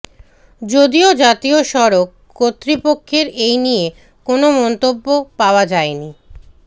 যদিও জাতীয় সড়ক কর্তৃপক্ষের এই নিয়ে কোনও মন্তব্য পাওয়া যায়নি